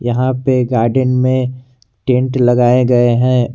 यहां पे गार्डन में टेंट लगाए गए हैं।